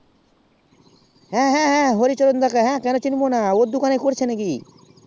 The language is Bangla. হ্যাঁ হ্যাঁ হরিচরণ দা কে ওকে কেন চিনবো না ওর দোকান এ করেছিস নাকি